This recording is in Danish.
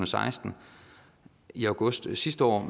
seksten i august sidste år